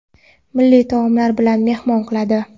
milliy taomlari bilan mehmon qiladi.